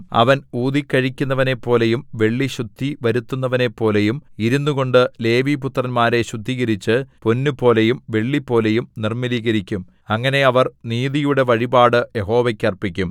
അവൻ ഊതിക്കഴിക്കുന്നവനെപ്പോലെയും വെള്ളി ശുദ്ധിവരുത്തുന്നവനെപ്പോലെയും ഇരുന്നുകൊണ്ട് ലേവിപുത്രന്മാരെ ശുദ്ധീകരിച്ച് പൊന്നുപോലെയും വെള്ളിപോലെയും നിർമ്മലീകരിക്കും അങ്ങനെ അവർ നീതിയുടെ വഴിപാട് യഹോവയ്ക്കു അർപ്പിക്കും